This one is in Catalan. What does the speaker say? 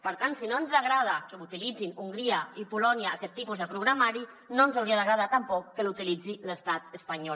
per tant si no ens agrada que utilitzin hongria i polònia aquest tipus de programari no ens hauria d’agradar tampoc que l’utilitzi l’estat espanyol